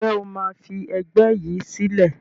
Ǹjẹ́ o máa fi ẹgbẹ́ yìí sílẹ̀?